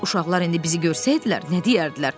Uşaqlar indi bizi görsəydilər nə deyərdilər?